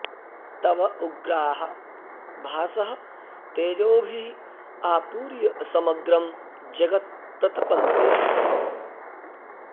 तव उग्राः भासः तेजोभिः आपूर्य समग्रं जगत् प्रतपन्ति